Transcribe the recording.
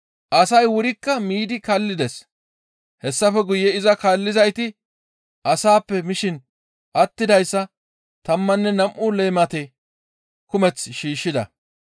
Asay wurikka miidi kallides. Hessafe guye iza kaallizayti asaappe mishin attidayssa tammanne nam7u leemate kumeth shiishshida.